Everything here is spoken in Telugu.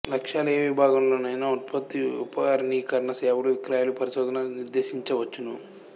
లక్ష్యాలు ఏ విభాగంలో నైనా ఉత్పత్తి విపణీకరణ సేవలు విక్రయాలు పరిశోధన నిర్దేశించవచ్చును